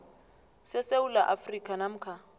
sesewula afrika namkha